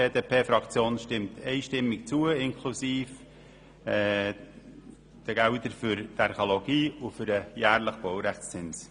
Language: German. Die BDP-Fraktion stimmt einstimmig zu, inklusive der Gelder für die Archäologie und den jährlichen Baurechtszins.